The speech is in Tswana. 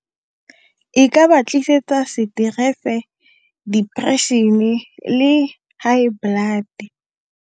E ka ba tlisetsa stress-e, depression-e, le high blood.